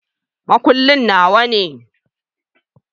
Makullin Nawa ne.